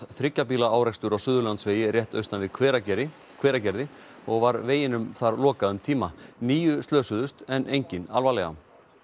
þriggja bíla árekstur á Suðurlandsvegi rétt austan við Hveragerði Hveragerði og var veginum þar lokað um tíma níu slösuðust en enginn alvarlega jean